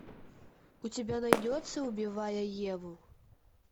у тебя найдется убивая еву